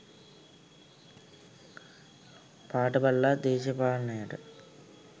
පාට බලලා දේශපාලනයට